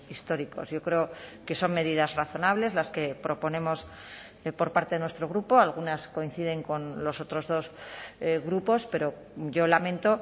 históricos yo creo que son medidas razonables las que proponemos por parte de nuestro grupo algunas coinciden con los otros dos grupos pero yo lamento